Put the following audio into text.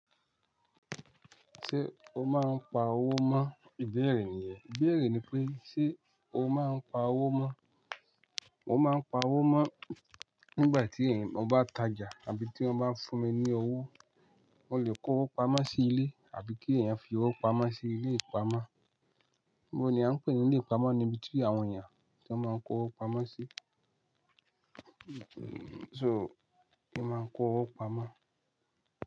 Ṣé o máa ń pa owó mọ́? Ìbéèrè nìyẹn. Ìbéèrè ni pé ṣe o máa ń pa owó mọ́? Mo máa ń pa owó mọ́ nígbà tí èèyàn bá ń tajà àbí tí wọ́n bá ń fún mi ní owó. Mo lè kó owó pamọ́ sí ilé àbí kí èèyàn fi owó pamọ́ sí ilé ìpamọ́. Bo ni à ń pè ní ilé ìpamọ́ ni ibi tí àwọn èèyàn ti máa ń kó owó pamọ́ sí. So, ki máa kó owó pamọ́